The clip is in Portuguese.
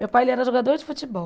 Meu pai era jogador de futebol.